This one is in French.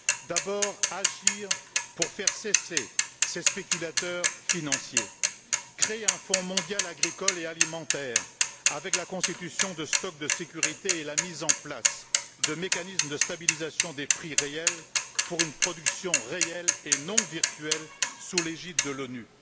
D'abord, agir pour faire cesser ces spéculateurs financiers créer un fonds mondial agricole et alimentaire avec la constitution de stocks de sécurité et la mise en place de mécanismes de stabilisation des prix réels pour une production réelle et non virtuelle sous l'égide de l'ONU.